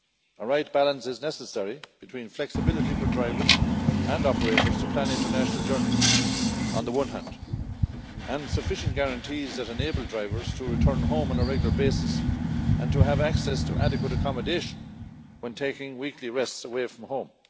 A right balance is necessary between flexibility for drivers and operators to plan international journeys on the one hand, and sufficient guarantees that enable drivers to return home on a regular basis and to have access to adequate accommodation when taking weekly rests away from home.